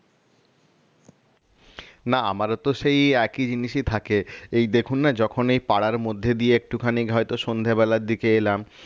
না আমারও তো সেই একই জিনিসই থাকে এই দেখুন না যখন এই পাড়ার মধ্যে দিয়ে একটুখানি হয়তো সন্ধ্যাবেলার দিকে এলাম